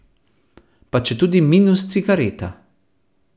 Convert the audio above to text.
Pa četudi minus cigareta.